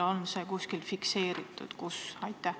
On see kuskil fikseeritud ja kui, siis kus?